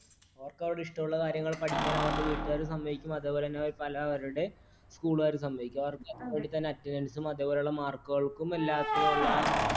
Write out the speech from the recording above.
അവർക്ക് അവരുടെ ഇഷ്ടമുള്ള കാര്യങ്ങൾ പഠിക്കുവാൻ അവരുടെ വീട്ടുകാർ സമ്മതിക്കും അതുപോലെതന്നെ അവർ പലവരുടെ school കാരും സമ്മതിക്കും . അതുപോലെതന്നെ attendance നും അതുപോലെയുള്ള mark കൾക്കും എല്ലാത്തിനുമുള്ള